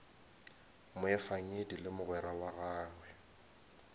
moefangedi le mogwera wa gagwe